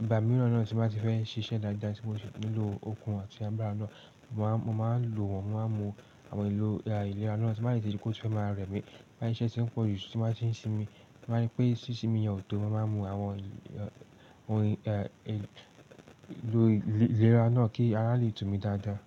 Ìgbà mìíràn náà tí n bá ti fẹ́ ṣiṣẹ́ dáadáa tí mò sì nílò okun àti agbára náà, mo máa ń lò wọ́n, mo máa ń mu àwọn èlò ìlera náà tí n bá sì ti rí pó ti fẹ́ máa rẹ̀ mí. Bóyá iṣẹ́ ti ń pọ̀jù tí n bá ti ń sinmi, tí n bá ri pé sísinmi yẹn ò tó, mo máa ń mu àwọn ohun èlò ìlera náà kí ara lè tù mí dáadáa.